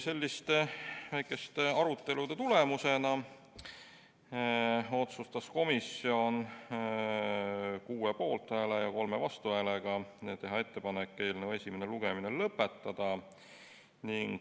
Sellise väikese arutelu tulemusena otsustas komisjon kuue poolt- ja kolme vastuhäälega teha ettepaneku eelnõu esimene lugemine lõpetada.